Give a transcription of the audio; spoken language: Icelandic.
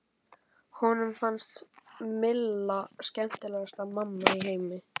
Honum fannst Milla skemmtilegasta mamma í heimi.